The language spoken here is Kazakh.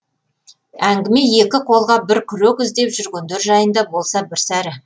әңгіме екі қолға бір күрек іздеп жүргендер жайында болса бір сәрі